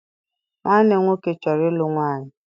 Nwanne m nwoke chọrọ ịlụ nwaanyị.